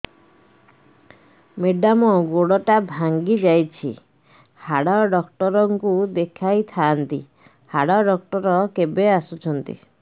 madam ଗୋଡ ଟା ଭାଙ୍ଗି ଯାଇଛି ହାଡ ଡକ୍ଟର ଙ୍କୁ ଦେଖାଇ ଥାଆନ୍ତି ହାଡ ଡକ୍ଟର କେବେ ଆସୁଛନ୍ତି